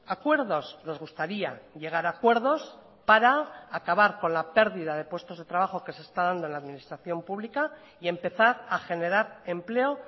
acuerdos nos gustaría llegar a acuerdos para acabar con la pérdida de puestos de trabajo que se está dando en la administración pública y empezar a generar empleo